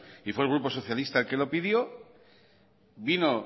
y fue el grupo socialista quien lo pidió vino